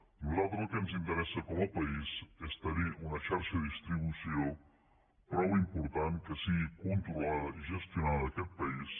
a nosaltres el que ens interessa com a país és tenir una xarxa de distribució prou important que sigui controlada i gestionada en aquest país